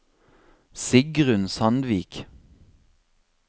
Sigrun Sandvik